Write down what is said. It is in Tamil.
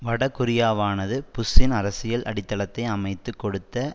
வடகொரியாவானது புஷ்ஷின் அரசியல் அடித்தளத்தை அமைத்து கொடுத்த